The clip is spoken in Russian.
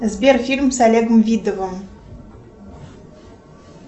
сбер фильм с олегом видовым